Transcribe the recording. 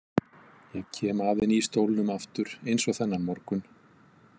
Ég kem að henni í stólnum aftur, eins og þennan morgun.